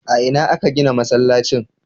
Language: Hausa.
A ina aka gina masallacin?